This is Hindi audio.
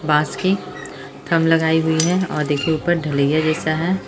बांस की थंब लगाई हुई है और देखिये ऊपर ढ़लैया जैसा है।